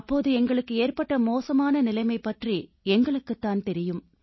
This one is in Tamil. அப்போது எங்களுக்கு ஏற்பட்ட மோசமான நிலைமை பற்றி எங்களுக்குத் தான் தெரியும்